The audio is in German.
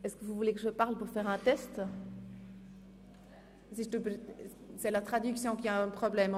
Es hat keine weiteren Fraktionssprecher.